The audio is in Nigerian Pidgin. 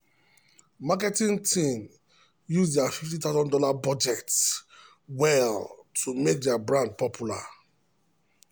marketing team use their fifty thousand dollars0 budget well to make their brand popular.